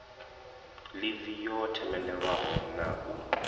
ḽivi yo themendelwaho na u